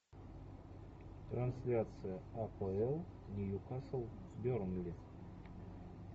трансляция апл ньюкасл бернли